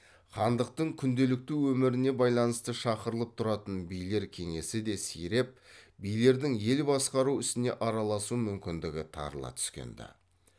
хандықтың күнделікті өміріне байланысты шақырылып тұратын билер кеңесі де сиреп билердің ел басқару ісіне араласу мүмкіндігі тарыла түскенді